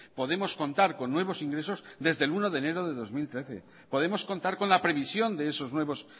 podemos contar con nuevos ingresos desde el uno de enero de dos mil trece podemos contar con la previsión de esos nuevos